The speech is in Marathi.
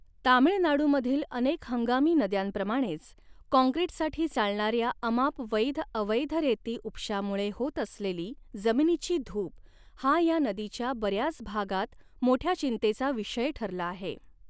तामीळनाडूमधील अनेक हंगामी नद्यांप्रमाणेच, काँक्रिटसाठी चालणाऱ्या अमाप वैध अवैध रेती उपशामुळे होत असलेली जमिनीची धूप हा ह्या नदीच्या बऱ्याच भागात मोठ्या चिंतेचा विषय ठरला आहे.